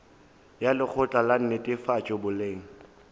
ya lekgotla la netefatšo boleng